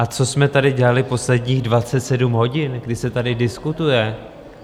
A co jsme tady dělali posledních 27 hodin, kdy se tady diskutuje?